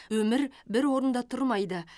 өмір бір орында тұрмайды